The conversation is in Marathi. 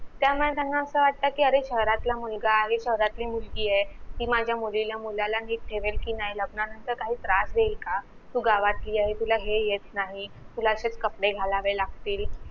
त्यामुळे त्यांना अस वाट कि अरे शहरातला मुलगा आहे शहरातली मुलगीए कि माझ्या मुलीला मुलाला नीट ठेवेल का नाय लग्नानंतर काही त्रास देईल का तू गावातली आहे तुला हे येत नाही तूला असेच कपडे घालावे लागतील